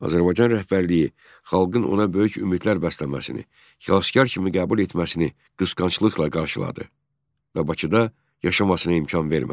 Azərbaycan rəhbərliyi xalqın ona böyük ümidlər bəsləməsini, xilaskar kimi qəbul etməsini qısqanclıqla qarşıladı və Bakıda yaşamasına imkan vermədi.